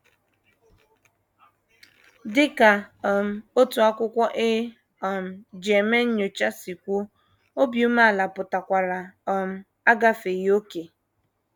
Dị ka um otu akwụkwọ e um ji eme nnyocha si kwuo, obi umeala pụtakwara “ um agafeghị ókè. ””